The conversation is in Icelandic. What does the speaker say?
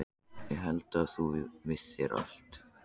Ég hélt að þú vissir allt.